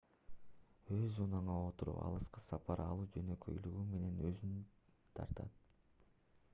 өз унааңа отуруп алыска сапар алуу жөнөкөйлүгү менен өзүнө тартат